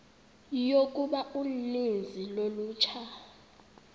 yokuba uninzi lolutsha